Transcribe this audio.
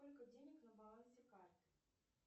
сколько денег на балансе карты